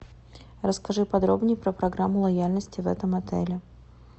расскажи подробней про программу лояльности в этом отеле